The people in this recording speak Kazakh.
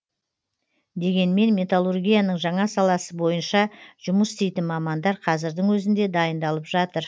дегенмен металлургияның жаңа саласы бойынша жұмыс істейтін мамандар қазірдің өзінде дайындалып жатыр